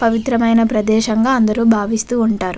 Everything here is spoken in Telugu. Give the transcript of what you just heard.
పవిత్రమైన ప్రదేశం గ అందరు భావుఇస్తూ వుంటారు.